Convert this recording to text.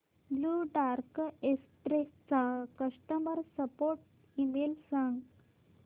blue Dart Express चा customer support email सांग